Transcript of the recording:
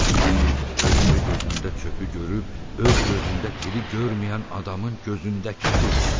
Bu ki özgə gözündə çöpü görüb, öz gözündə tiri görməyən adamın gözündəki tirdi.